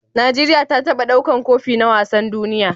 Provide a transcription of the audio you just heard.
Nigeria ta taba ɗaukar Kofi na wasan duniya?